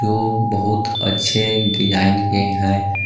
बहुत अच्छे डिज़ाइन के है।